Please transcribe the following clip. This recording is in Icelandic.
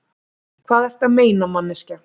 Hvað ertu að meina, manneskja?